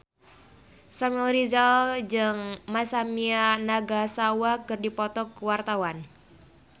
Samuel Rizal jeung Masami Nagasawa keur dipoto ku wartawan